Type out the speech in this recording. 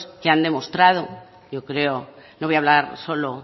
que han demostrado yo creo no voy a hablar solo